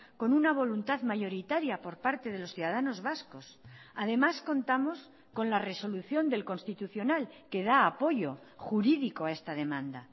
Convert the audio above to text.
con una voluntad mayoritaria por parte de los ciudadanos vascos además contamos con la resolución del constitucional que da apoyo jurídico a esta demanda